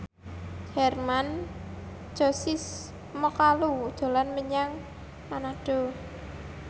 Hermann Josis Mokalu dolan menyang Manado